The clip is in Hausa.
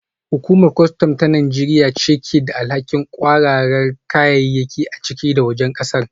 Hukumar kwastam ta Najeriya ce ke da alhakin kwararar kayayyaki a ciki da wajen kasar